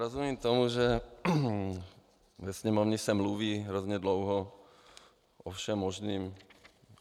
Rozumím tomu, že ve Sněmovně se mluví hrozně dlouho o všem možném.